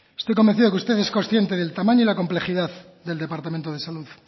estoy convencido de que usted es consciente del tamaño y la complejidad del departamento de salud